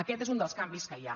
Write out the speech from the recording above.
aquest és un dels canvis que hi ha